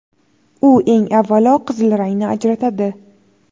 U, eng avvalo, qizil rangni ajratadi.